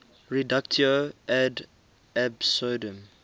reductio ad absurdum